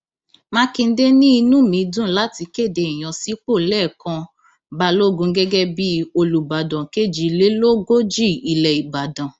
mákindé ní inú mi dùn láti kéde ìyànsípò lẹkàn balógun gẹgẹ bíi olùbàdàn kejìlélógójì ilẹ ìbàdàn